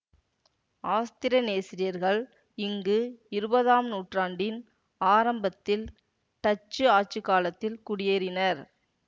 ஆஸ்திரனேசியர்கள் இங்கு இருபதாம் நூற்றாண்டின் ஆரம்பத்தில் டச்சு ஆட்சி காலத்தில் குடியேறினர்